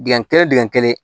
Dingɛ kelen dingɛ kelen